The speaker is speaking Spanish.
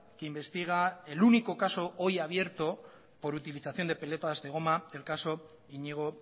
que investiga el único caso hoy abierto por utilización de pelotas de goma el caso iñigo